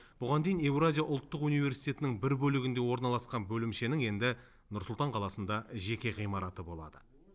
бұған дейін еуразия ұлттық университетінің бір бөлігінде орналасқан бөлімшенің енді нұр сұлтан қаласында жеке ғимараты болады